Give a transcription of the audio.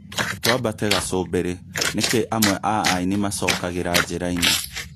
Twambate gacũmbĩrĩ nĩkĩ amwe aaini macokagĩra njĩra-inĩ